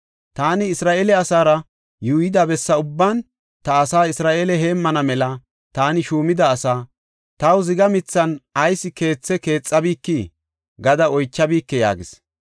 Taani Isra7eele asaara yuuyida bessa ubban ta asa Isra7eele heemmana mela taani shuumida asaa, “Taw ziga mithan ayis keethe keexabikii?” gada oychabike’ yaagis.